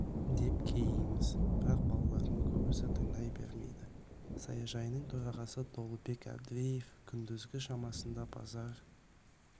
деп кейиміз бірақ балалардың көбісі тыңдай бермейді саяжайының төрағасы толыбек әбдіреев күндізгі шамасында базар